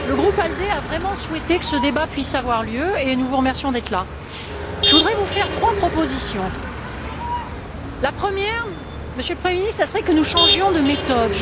Le groupe ALDE a vraiment souhaité que ce débat puisse avoir lieu et nous vous remercions d'être là. Je voudrais vous faire trois propositions la première, Monsieur le Premier ministre, serait que nous changions de méthode.